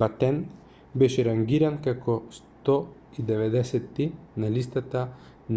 батен беше рангиран како 190ти на листата